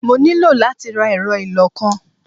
Mo ní láti ra ẹ̀rọ ìlọ-nǹkan.